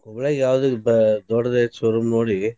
Hubli ಆಗ ಯಾವ್ದ ಇದ್ ದೊಡ್ದ್ ಐತಿ showroom ನೋಡಿ.